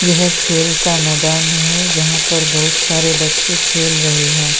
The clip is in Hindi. यह खेल का मैदान है जहां पर बहुत सारे बच्चे खेल रहे हैं।